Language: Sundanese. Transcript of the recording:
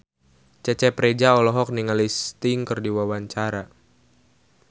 Cecep Reza olohok ningali Sting keur diwawancara